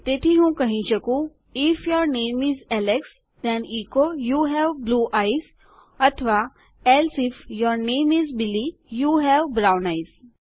તેથી હું કહી શકું if your name is Alex then echo you have blue eyes or else if your name is Billy you have brown eyes